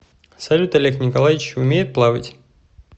салют олег николаевич умеет плавать